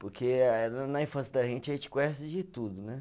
Porque eh na na infância da gente, a gente conhece de tudo, né?